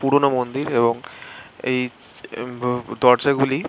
পুরোনো মন্দির এবং এই দরজাগুলি--